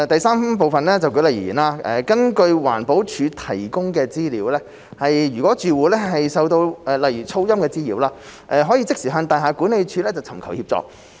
三舉例而言，根據環保署提供的資料，如住戶受到例如噪音滋擾，可即時向大廈管理處尋求協助。